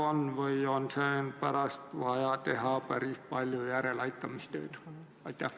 Kas võib olla nii, et pärast on vaja teha päris palju järeleaitamistööd?